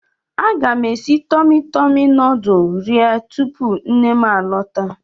Aga m esi Tọmi Tọmi nuduls rie tupu nnem a lọta.